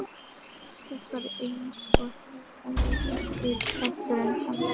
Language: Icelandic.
Það var eins og það væri eitthvað grunsamlegt.